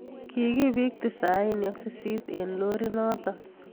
Kikibiik tisaini ak sisit eng loriit notok